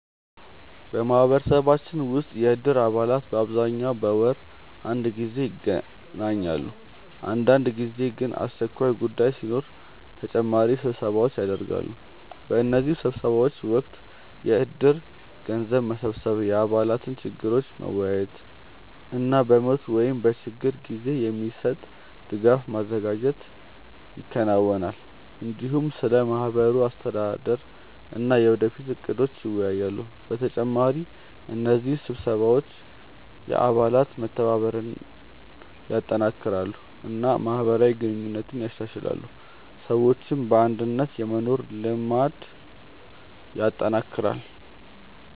በማህበረሰባችን ውስጥ የእድር አባላት በአብዛኛው በወር አንድ ጊዜ ይገናኛሉ። አንዳንድ ጊዜ ግን አስቸኳይ ጉዳይ ሲኖር ተጨማሪ ስብሰባዎች ይደርሳሉ። በእነዚህ ስብሰባዎች ወቅት የእድር ገንዘብ መሰብሰብ፣ የአባላት ችግሮችን መወያየት እና በሞት ወይም በችግር ጊዜ የሚሰጥ ድጋፍ ማዘጋጀት ይከናወናል። እንዲሁም ስለ ማህበሩ አስተዳደር እና የወደፊት እቅዶች ይወያያሉ። በተጨማሪ እነዚህ ስብሰባዎች የአባላት መተባበርን ያጠናክራሉ እና ማህበራዊ ግንኙነትን ያሻሽላሉ፣ ሰዎችም በአንድነት የመኖር ልምድ ያጠናክራሉ።